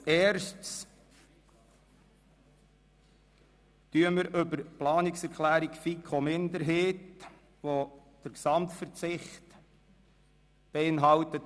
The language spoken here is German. Als Erstes stimmen wir über die Planungserklärung 4 der FiKo-Minderheit ab, welche den Gesamtverzicht auf die Massnahme beinhaltet.